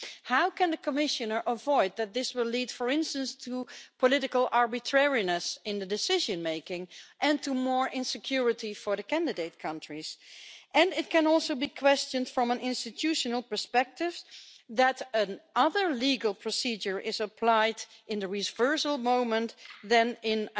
How can the Commissioner prevent this from leading, for instance, to political arbitrariness in the decision making and to more insecurity for the candidate countries? It can also be questioned from an institutional perspective that a different legal procedure is applied in the reversal moment from the one applied in